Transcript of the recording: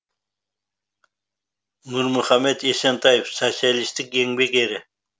нұрмұхамед есентаев социалистік еңбек ері